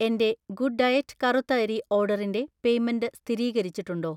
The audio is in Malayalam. എന്‍റെ ഗുഡ് ഡയറ്റ് കറുത്ത അരി ഓർഡറിന്‍റെ പേയ്‌മെന്റ് സ്ഥിരീകരിച്ചിട്ടുണ്ടോ?